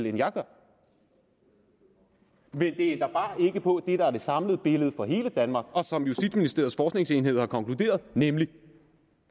end jeg gør men det ændrer bare ikke på det der er det samlede billede for hele danmark og som justitsministeriets forskningsenhed har konkluderet nemlig at